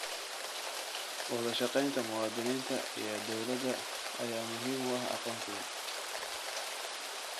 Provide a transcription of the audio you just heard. Wadashaqeynta muwaadiniinta iyo dowladda ayaa muhiim u ah aqoonsiga.